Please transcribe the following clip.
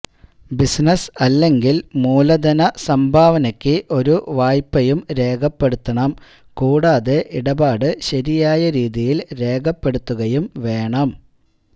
business അല്ലെങ്കിൽ മൂലധന സംഭാവനയ്ക്ക് ഒരു വായ്പയും രേഖപ്പെടുത്തണം കൂടാതെ ഇടപാട് ശരിയായ രീതിയിൽ രേഖപ്പെടുത്തുകയും വേണം